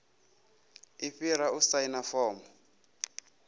i fhira u saina fomo